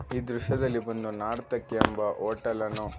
ಈ ದೃಶ್ಯದಲ್ಲಿ ಒಂದು ನಾರ್ತಕಿ ಎಂಬ ಹೋಟೆಲ್ ಅನ್ನು--